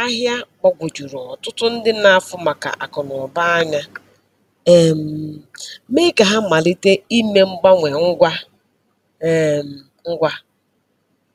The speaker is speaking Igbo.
ahịa gbagwojuru ọtụtụ ndị n'afu maka akụ na uba anya, um mee ka ha malite ime mgbanwe ngwa um ngwa.